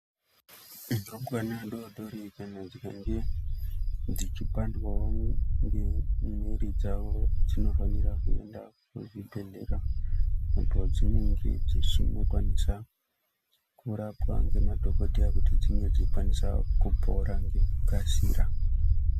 Ntumbwana dodori kana ndombi Dzichipandwawo nge ngemiri dzawo dzinofanira kuenda kuzvibhedhlera apo dzinenge dzichindokwanisa kurapwa ngemadhokodheya kuti dsinge dzeikwanisa kupora ngekukasira.